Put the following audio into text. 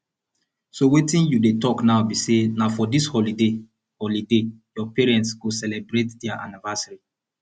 so wetin you dey talk now be say na for dis holiday holiday your parents go celebrate their anniversary